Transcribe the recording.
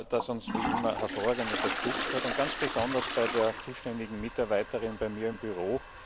das uns wie immer hervorragend unterstützt hat und ganz besonders bei der zuständigen Mitarbeiterin bei mir im Büro.